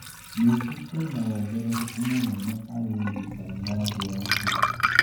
Nĩngi kwĩna wongerereku mũnene harĩ ũrigitani wa njĩra ingĩ